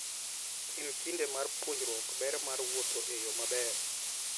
En kinde mar puonjruok ber mar wuoth e yo maber.